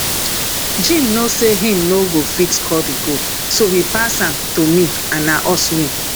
jim know say he no go fit score the goal so he pass am to me and na us win